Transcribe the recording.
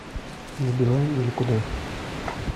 на билайн или куда